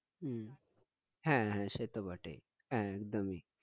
হম হ্যাঁ হ্যাঁ সেতো বটেই হ্যাঁ একদমই